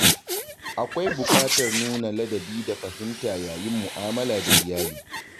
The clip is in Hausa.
Akwai buƙatar nuna ladabi da fahimta yayin mu'amala da iyali.